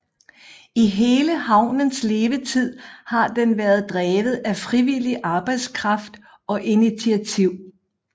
I hele havnens levetid har den været drevet af frivillig arbejdskraft og initiativ